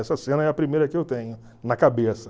Essa cena é a primeira que eu tenho na cabeça.